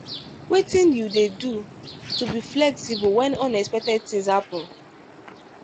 wetin you dey do to be flexible when unexpected things happen?